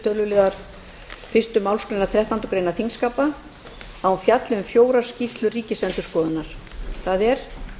töluliðar fyrstu málsgreinar þrettándu greinar þingskapa að hún fjalli um fjórar skýrslur ríkisendurskoðunar það er